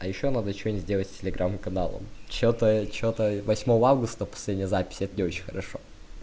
а ещё надо что то делать с телеграм каналом что-то что-то восьмого августа последняя запись это не очень хорошо